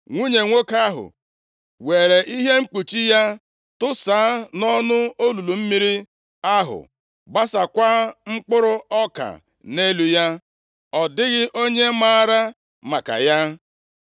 Nwunye nwoke ahụ weere ihe mkpuchi ya tụsaa nʼọnụ olulu mmiri ahụ gbasaakwa mkpụrụ ọka nʼelu ya. + 17:19 \+xt Jos 2:4-6\+xt* Ọ dịghị onye maara maka ya.